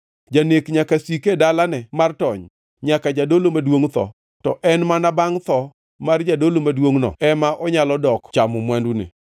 Janek nyaka sik e dalane mar tony nyaka jadolo maduongʼ tho; to en mana bangʼ tho mar jadolo maduongʼno ema onyalo dok chamo mwandune.